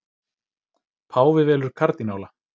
Páfi velur kardínála